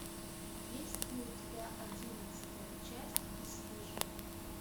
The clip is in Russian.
есть ли у тебя одиннадцатая часть бесстыжие